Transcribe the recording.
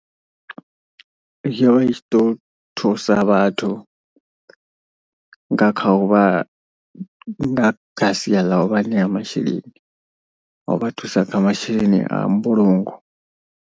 Yo vha i tshi ḓo thusa vhathu nga kha uvha nga kha sia ḽa u vha ṋea masheleni. A u vha thusa kha masheleni a mbulungo.